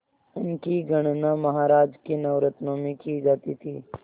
उनकी गणना महाराज के नवरत्नों में की जाती थी